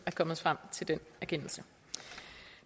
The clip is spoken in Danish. er kommet frem til den erkendelse